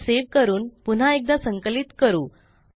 file save करून पुन्हा एकदा संकलित करू